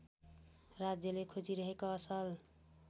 राज्यले खोजिरहेको असल